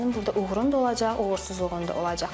Sənin burda uğurun da olacaq, uğursuzluğun da olacaq.